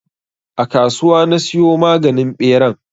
A kasuwa na siyo maganin ɓeran.